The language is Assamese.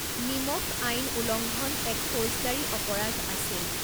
নিমখ আইন উলংঘন এক ফৌজদাৰী অপৰাধ আছিল।